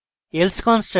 else construct